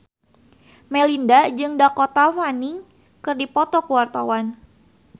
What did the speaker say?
Melinda jeung Dakota Fanning keur dipoto ku wartawan